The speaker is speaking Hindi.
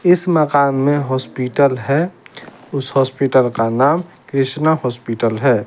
इस मकान में हॉस्पिटल है उस हॉस्पिटल का नाम क्रिस्ना हॉस्पिटल है।